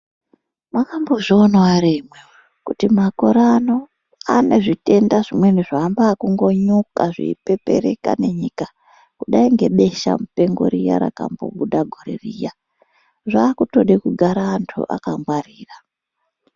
Makambozvionawo ere imwimwi kuti makore ano ane zvitenda zvimweni zvaamba ekungonyuka zveipepereka nenyika kudai ngebesha mupengo riya rakambobuda gore riya zvakutode kugara antu akangwarira.